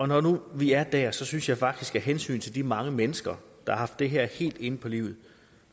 når nu vi er der synes jeg faktisk at vi af hensyn til de mange mennesker der har haft det her helt inde på livet